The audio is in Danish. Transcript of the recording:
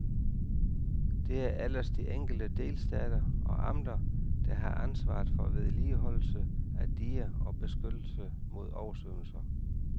Det er ellers de enkelte delstater og amter, der har ansvaret for vedligeholdelse af diger og beskyttelse mod oversvømmelser.